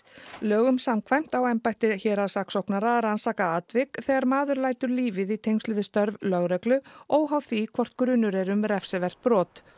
lögum samkvæmt á embætti héraðssaksóknara að rannsaka atvik þegar maður lætur lífið í tengslum við störf lögreglu óháð því hvort grunur er um refsivert brot